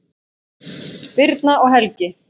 Birna og Helgi.